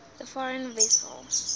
the foreign vessel